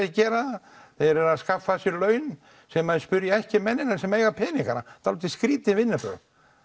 að gera þeir eru að skaffa sér laun sem þeir spyrja ekki mennina sem eiga peningana um dálítið skrýtin vinnubrögð